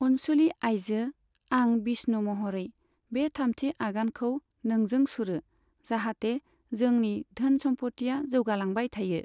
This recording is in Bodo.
अनसुलि आइजो, आं विष्णु महरै, बे थामथि आगानखौ नोंजों सुरो, जाहाथे जोंनि धोन सम्फथिया जौगालांबाय थायो।